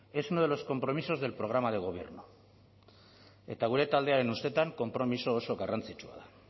es uno de los compromisos del programa de gobierno eta gure taldearen ustetan konpromiso oso garrantzitsua da